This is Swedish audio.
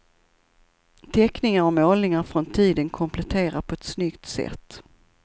Teckningar och målningar från tiden kompletterar på ett snyggt sätt.